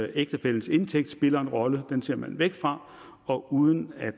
ægtefællens indtægt spiller en rolle den ser man væk fra og uden at